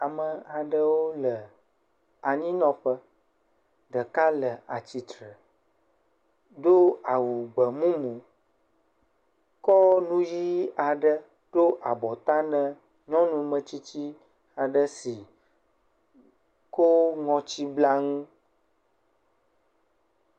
Ame aɖewo le anyinɔƒe. Ɖeka le atsitre, do awu gbemumu, kɔ nu yii aɖe ɖo abɔta nɛ nyɔnu metsitsi aɖe si kɔɔɔ ŋutsiblanu.